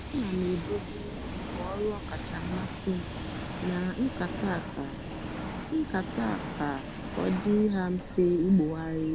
ana m edobe ngwa ọrụ ọkacha mmasị m na nkata ka nkata ka ọ dịrị ha mfe ibugharị.